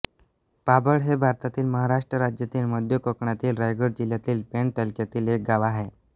पाबळ हे भारतातील महाराष्ट्र राज्यातील मध्य कोकणातील रायगड जिल्ह्यातील पेण तालुक्यातील एक गाव आहे